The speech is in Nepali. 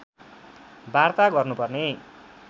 वार्ता गर्नुपर्ने